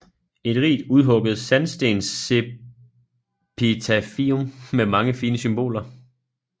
Et rigt udhugget sandstensepitafium med mange fine symboler